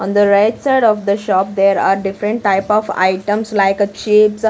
On the right side of the shop there are different type of items like a chips --